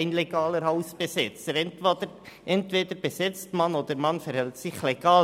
Nach meinem Dafürhalten entscheidet man sich entweder für eine Besetzung, oder man verhält sich legal.